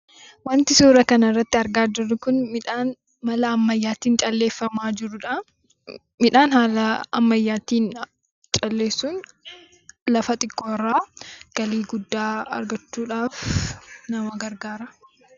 Wanti suuraa kanarratti argaa jirru kun, midhaan mala ammayyaatiin calleefamaa jirudha. Midhaan haala ammayyaatiin calleessuun lafa xiqqoorraa galii guddaa argachuudhaaf nama gargaara.